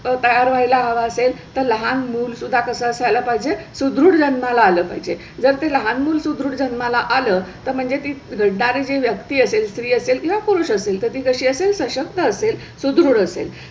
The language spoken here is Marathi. तयार व्हायला हवा असेल तर लहान मूल सुद्धा कसा असाय ला पाहिजे सुदृढ जन्माला आलं पाहिजे जर ते लहान मूल सुदृढ जन्माला आलं तर म्हणजे ते वृधारी व्यक्ती असेल स्री असेल किंवा पुरुष असेल तर ती कशी असेल सशक्त असेल सुदृढ असेल